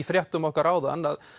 fréttum okkar áðan að